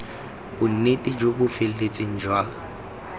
bonnete jo bo feletseng jwa